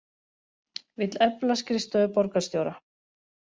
Vill efla skrifstofu borgarstjóra